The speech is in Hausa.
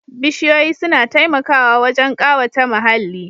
Bishiyoyi suna taimakawa wajen ƙawata muhalli